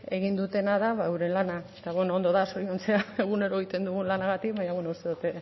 egin dutena da ba geure lana eta ondo da zoriontzea egunero egiten dugun lanagatik baina uste dut